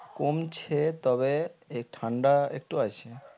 কমছে তবে এই ঠান্ডা একটু আছে